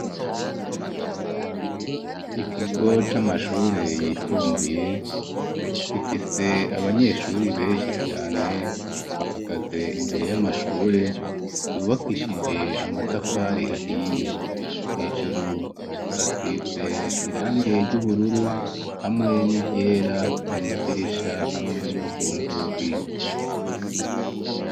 Ikigo c'amashure yisumbuye gifise abanyeshure benshi cane bahagaze imbere y'amashure yubakishije amatafari ahiye hejuru hasize irangi ry'ubururu hamwe n'iryera ku madirisha hamwe no ku nzugi.